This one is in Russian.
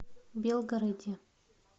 белгороде